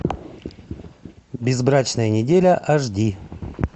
безбрачная неделя аш ди